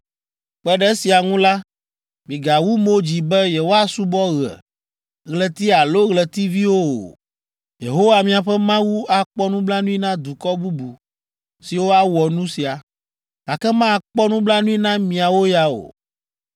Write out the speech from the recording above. Kpe ɖe esia ŋu la, migawu mo dzi be yewoasubɔ ɣe, ɣleti alo ɣletiviwo o. Yehowa miaƒe Mawu akpɔ nublanui na dukɔ bubu siwo awɔ nu sia, gake makpɔ nublanui na miawo ya o.